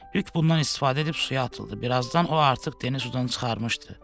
Lük bundan istifadə edib suya atıldı, birazdan o artıq Deni sudan çıxarmışdı.